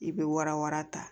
I bɛ wara wara ta